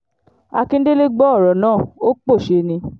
akíndélé gbọ́ ọ̀rọ̀ náà ó pòṣé ni